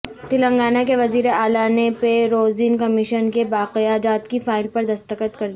تلنگانہ کے وزیراعلی نے پے رویثرن کمیشن کے بقایاجات کی فائل پر دستخط کردیئے